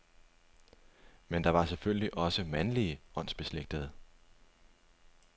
Men der var selvfølgelig også mandlige åndsbeslægtede.